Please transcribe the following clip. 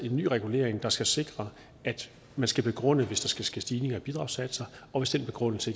en ny regulering der skal sikre at man skal begrunde det hvis der skal ske stigninger i bidragssatser og hvis den begrundelse